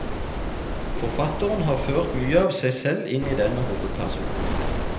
Forfatteren har ført mye av seg selv inn i denne hovedpersonen.